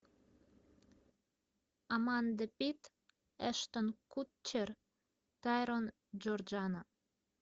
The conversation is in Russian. аманда пит эштон кутчер тайрон джордано